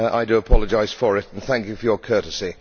I do apologise for it and thank you for your courtesy.